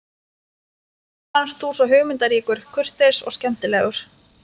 Mér fannst þú svo hugmyndaríkur, kurteis og skemmtilegur.